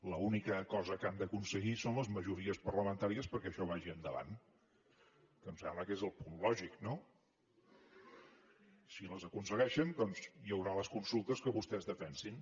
l’única cosa que han d’aconseguir són les majories parlamentàries perquè això vagi endavant que em sembla que és el punt lògic no si les aconsegueixen doncs hi haurà les consultes que vostès defensin